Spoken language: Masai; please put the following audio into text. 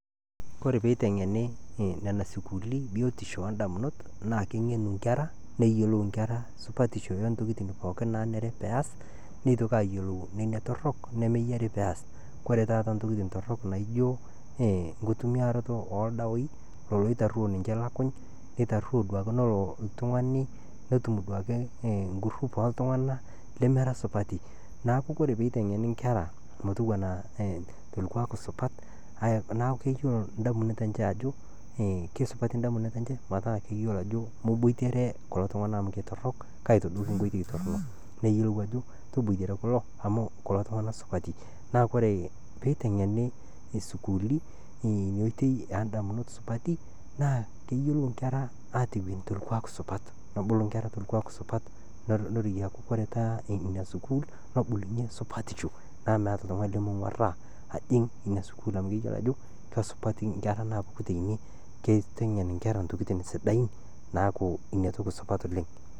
Kore peiteng'eni nena sukuuli biotisho oondamunot, naa king'eni nkera neyiolou nkera supatisho oontokitin pookin naanere pees, neitoki aayiolou nena torrok nemeyiari peas. Ore taata ntokitin torrok naijo nkitumiaroto ooldawai lolo oitarwo ninche lukuny neitarruo nelo oltung'ani netum duake ngroup ooltung'anak lemera supati. Neeku kore peiteng'eni nkera metowuana tolkuak supat naaku keyiolo ndamunot enche ajo keisupati ndamunot enche metaa keyiolo ajo moboitare kulo tung'anak amu ketorrok kaitadoiki nkoitoi torrok, neyiolou ajo toboitare kulo amu kulo tung'anak supati. Naa kore peiteng'eni isukuuli ina oitoi oondamunot supati naa keyiolou nkera aatewueni tolkuka supat, nebulu nkera tolkuak supat neroyie aaku kore taa ina sukuul nebulunye supatisho amu meeta oltung'ani lemeng'uarraa ajing' ina sukuul amu keyiolo ajo kesupati nkera naapuku teine, keiteng'en nkera ntokitin sidain, neeku inatoki supat oleng'.